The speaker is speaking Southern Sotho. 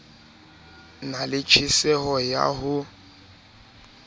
na le tjheseho ya ho